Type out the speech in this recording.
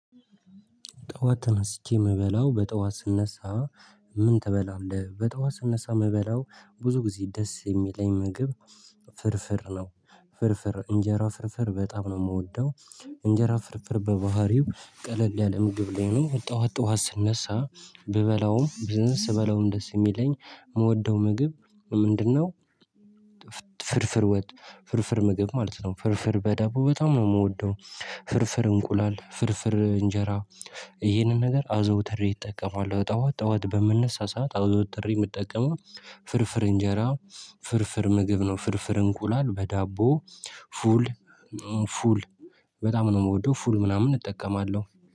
ጠዋት ተነስቼ የምበላው በጠዋት ስነሳ ምን ትበላለህ? በጠዋት ስነሳ የምበላው ብዙ ጊዜ ደስ የሚለኝ ምግብ ፍርፍር ነው። ፍርፍር እንጀራ ፍርፍር በጣም ነው የምወደው። እንጀራ ፍርፍር በባህሪው ቀለል ያለ ምግብ ላይ ነው። ጠዋት ጠዋት ስነሳ ብበላውም ግን ስበላውም ደስ የሚለኝ የምወደው ምግብ ምንድነው ፍርፍር ወጥ ፍርፍር ምግብ ማለት ነው። ፍርፍር በዳቦ በጣም ነው የምወደው። ፍርፍር እንቁላል፣ ፍርፍር እንጀራ ይሄንን ነገር አዘውትሬ እጠቀማለሁ። ጠዋት ጠዋት በምነሳ ሰዓት አዘውትሬ የምጠቀመው ፍርፍር እንጀራ ፍርፍር ምግብ ነው። ፍርፍር እንቁላል በዳቦ ፉል ፉል በጣም ነው የምወደው። ፉል ምናምን እጠቀማለሁ።